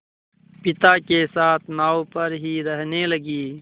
पिता के साथ नाव पर ही रहने लगी